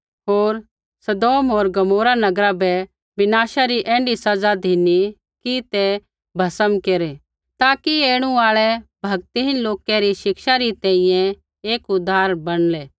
होर सदोम होर गमोरा नगरा बै विनाशा री ऐण्ढी सज़ा धिनी कि ते भस्म केरै ताकि ऐणु आल़ै भक्तिहीन लोकै री शिक्षै री तैंईंयैं एक उदाहरण बणलै